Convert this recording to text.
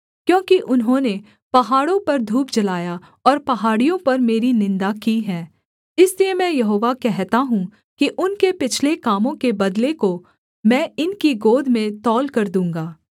क्योंकि उन्होंने पहाड़ों पर धूप जलाया और पहाड़ियों पर मेरी निन्दा की है इसलिए मैं यहोवा कहता हूँ कि उनके पिछले कामों के बदले को मैं इनकी गोद में तौलकर दूँगा